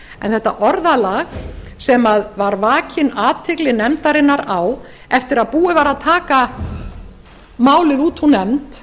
þetta orðalag sem var vakin athygli nefndarinnar á eftir að búið var að taka málið út úr nefnd